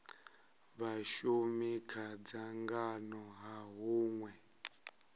vhashumi kha dzangano ha hunwe